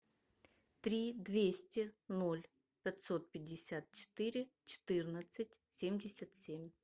три двести ноль пятьсот пятьдесят четыре четырнадцать семьдесят семь